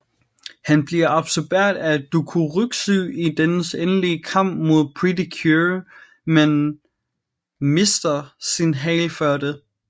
Han bliver absorberet af Dokuroxy i dennes endelige kamp mod Pretty Cure men mister sin hale før det